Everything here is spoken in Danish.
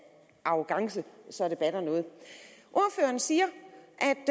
arrogance så det batter noget ordføreren siger